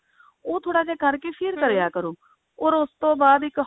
ਉਹ ਥੋੜਾ ਜਾ ਕਰਕੇ ਫਿਰ ਕਰਿਆ ਕਰੋ or ਉਸ ਤੋਂ ਬਾਅਦ ਇੱਕ